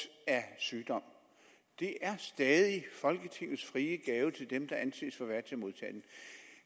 af sygdom det er stadig folketingets frie gave til dem der anses for værdige modtage den